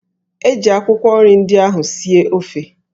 Eji akwụkwọ nri ndị ahụ sie ofe